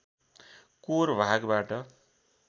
core भागबाट